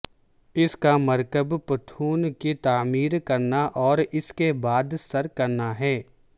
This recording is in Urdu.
اس کا مرکب پٹھوں کی تعمیر کرنا اور اس کے بعد سر کرنا ہے